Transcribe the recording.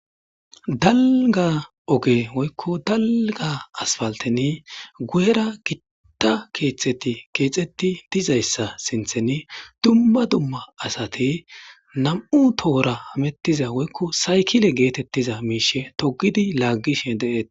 Dalga oge woykko dalga asfalteni gu'era gitta keeththeti keexxetti dizayssa sintheni dumma dumma asate nam"u tohora amettiza woykko saykile geetettiza miishe togidi laaggishe deetees.